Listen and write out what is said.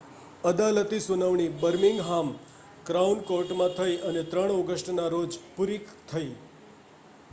અદાલતી સુનાવણી Birmingham crown કૉર્ટમાં થઈ અને 3 ઑગસ્ટના રોજ પૂરી થઈ